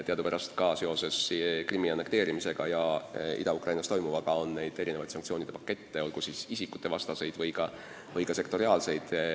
Teadupärast on ka seoses Krimmi annekteerimisega ja Ida-Ukrainas toimuvaga kehtestatud päris palju sanktsioonide pakette, olgu isikutevastaseid või ka sektoriaalseid.